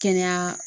Kɛnɛya